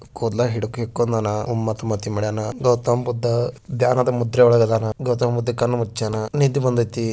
ಕೂದಲ ಹಿಡ್ಕೊಂಡ್ಯಾನ ಗೌತಮ ಬುದ್ಧ ಧ್ಯಾನದ ಮುದ್ರೆ ಒಳಗದಾನ ಗೌತಮ ಬುದ್ಧ ಕಣ್ಣ ಮುಚ್ಯನ ನಿದ್ದೆ ಬಂದೈತಿ.